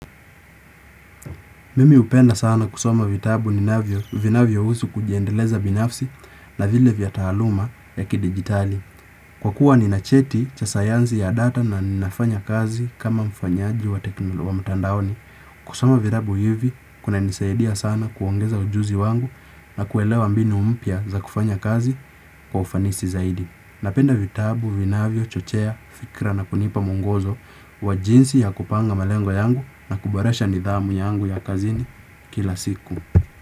Mimi hupenda sana kusoma vitabu ninavyo vinavyohusu kujiendeleza binafsi na vile vya taaluma ya kidigitali. Kwa kuwa nina cheti cha sayanzi ya data na ninafanya kazi kama mfanyaji wa teknolo wa mtandaoni. Kusoma vitabu hivi kunanisaidia sana kuongeza ujuzi wangu na kuelewa mbinu mpya za kufanya kazi kwa ufanisi zaidi. Napenda vitabu, vinavyochochea, fikra na kunipa mwongozo wa jinsi ya kupanga malengo yangu na kubarasha nidhamu yangu ya kazini kila siku.